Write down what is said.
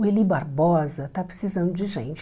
O Eli Barbosa está precisando de gente.